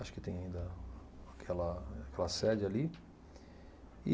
Acho que tem ainda aquela aquela sede ali. E